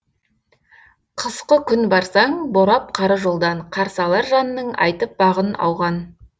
қысқы күн барсаң борап қары жолдан қарсы алар жанның айтып бағын ауған